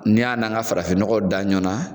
Ni y'a n'an ka farafin ɲɔgɔw da ɲɔa na